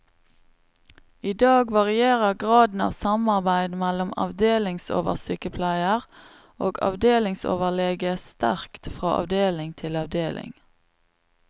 I dag varierer graden av samarbeid mellom avdelingsoversykepleier og avdelingsoverlege sterkt fra avdeling til avdeling.